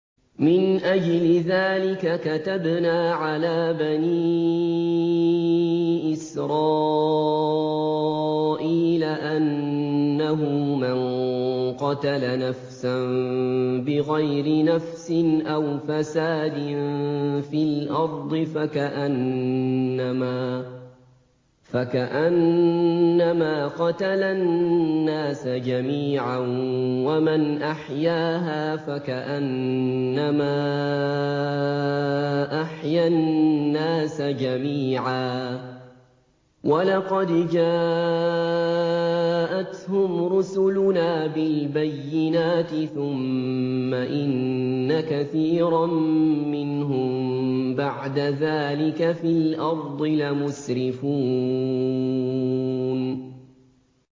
مِنْ أَجْلِ ذَٰلِكَ كَتَبْنَا عَلَىٰ بَنِي إِسْرَائِيلَ أَنَّهُ مَن قَتَلَ نَفْسًا بِغَيْرِ نَفْسٍ أَوْ فَسَادٍ فِي الْأَرْضِ فَكَأَنَّمَا قَتَلَ النَّاسَ جَمِيعًا وَمَنْ أَحْيَاهَا فَكَأَنَّمَا أَحْيَا النَّاسَ جَمِيعًا ۚ وَلَقَدْ جَاءَتْهُمْ رُسُلُنَا بِالْبَيِّنَاتِ ثُمَّ إِنَّ كَثِيرًا مِّنْهُم بَعْدَ ذَٰلِكَ فِي الْأَرْضِ لَمُسْرِفُونَ